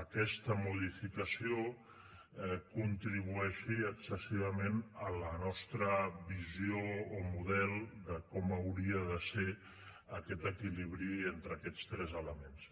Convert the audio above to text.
aquesta modificació contribueixi excessivament a la nostra visió o model de com hauria de ser aquest equilibri entre aquests tres elements